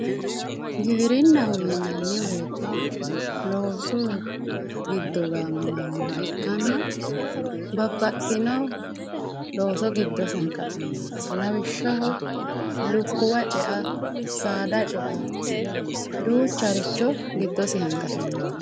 giwirinnaho yinanni woyiite loosu giddo gaamamannoha ikkanna babbaxxino looso giddosi hanqafinnoho lawishshaho lukkuwa ce"a saada ce"a duucharicho giddosi hanqafinnoho